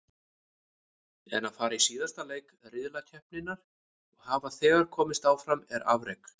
En að fara í síðasta leik riðlakeppninnar og hafa þegar komist áfram er afrek.